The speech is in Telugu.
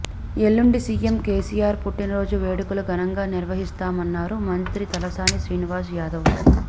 ఎల్లుండి సీఎం కేసీఆర్ పుట్టిన రోజు వేడుకలు ఘనంగా నిర్వహిస్తామన్నారు మంత్రి తలసాని శ్రీనివాస్ యాదవ్